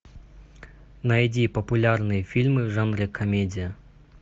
найди популярные фильмы в жанре комедия